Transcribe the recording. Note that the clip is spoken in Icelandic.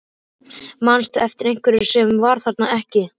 Manstu eftir einhverjum sem var þarna ekki?